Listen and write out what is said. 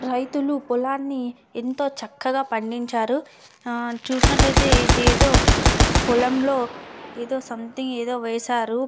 రైతులు పొలాన్ని ఎంతో చక్కగా పండించారు. చూసినట్టు ఐతే ఇది ఏదో పొలంలో ఏదో సొమెథింగ్ వేసారు.